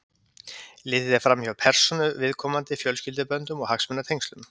Litið er fram hjá persónu viðkomandi, fjölskylduböndum og hagsmunatengslum.